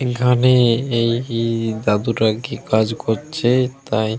এখানে এই দাদুটা কি কাজ করছে তাই।